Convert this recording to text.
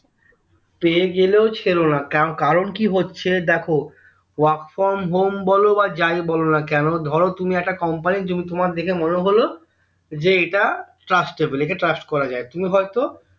পেয়ে গেলেও ছেড়োনা কারণ কি হচ্ছে দেখো work from home বলো বা যাই বলোনা কেন ধরো তুমি একটা company তোমার দেখে মনে হলো যে এইটা trustable একে trust করা যায়